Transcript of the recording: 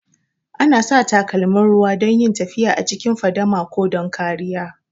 Ana sa takalmin ruwa don yin tafiya a cikin fadama ko don kariya